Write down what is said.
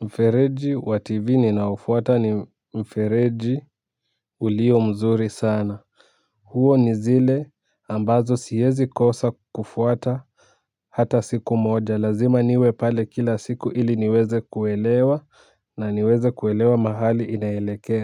mfereji wa tv ninaofuata ni mfereji ulio mzuri sana huo ni zile ambazo siwezi kosa kufuata hata siku moja lazima niwe pale kila siku ili niweze kuelewa na niweze kuelewa mahali inaelekea. Kwa hivyo.